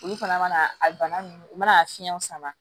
Olu fana mana a bana nunnu u mana fiɲɛw sama